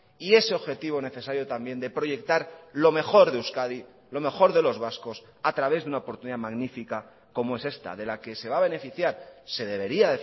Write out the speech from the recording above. y ese objetivo necesario también de proyectar lo mejor de euskadi lo mejor de los vascos a través de una oportunidad magnífica como es esta de la que se va a beneficiar se debería